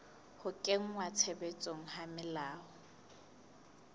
ho kenngwa tshebetsong ha melao